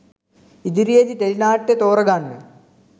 ඉදිරියේදී ටෙලි නාට්‍ය තෝරා ගන්න